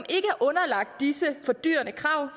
er underlagt disse fordyrende krav